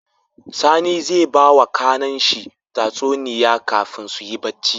Sani zai bawa kAnan shi tsatuniya kafin suyi bacci